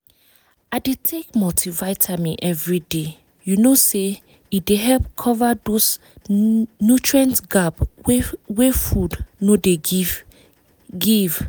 i dey take multivitamin every day you know say e dey help cover those nutrient gap wey food no dey give give